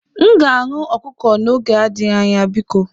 M ga-aṅụ ọkụkọ n'oge adịghị biko